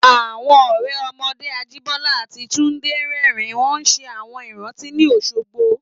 Àwọn ọ̀rẹ́ ọmọdé Ajíbọ́lá àti Túndé rẹ́rìn-ín wọ́n ṣe àwọn ìrántí ní Òṣogbo